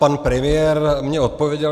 Pan premiér mně odpověděl.